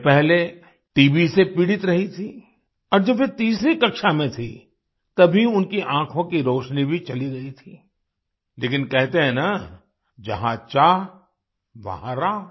वे पहले टीबी से पीड़ित रही थीं और जब वे तीसरी कक्षा में थीं तभी उनकी आँखों की रोशनी भी चली गई थी लेकिन कहते हैं न जहाँ चाहवहाँ राह